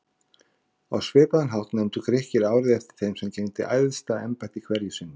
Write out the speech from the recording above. Á svipaðan hátt nefndu Grikkir árið eftir þeim sem gegndi æðsta embætti hverju sinni.